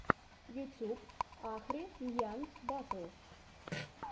ютуб ахри ньян батл